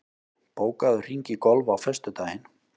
Lalli, bókaðu hring í golf á föstudaginn.